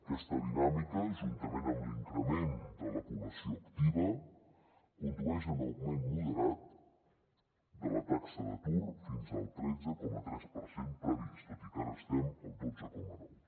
aquesta dinàmica juntament amb l’increment de la població activa condueix a un augment moderat de la taxa d’atur fins al tretze coma tres per cent previst tot i que ara estem al dotze coma nou